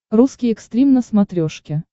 русский экстрим на смотрешке